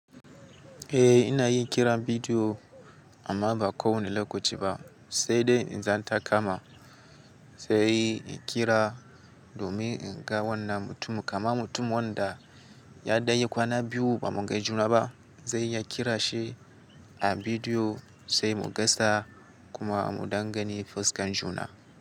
Eh ina yin kiran bidiyo amma ba kowanne lokaci ba sai dai in idan taka ma. Sai in kira domin in ga wannan mutumin. Kama mutum wanda ya dai kwana biyu ba mu ga juna ba sai ya kira shi a bidiyo sai mu gasa kuma mu dangani fuskan juna.